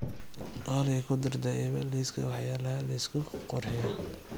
olly ku dar daipa liiska waxyaalaha la isku qurxiyo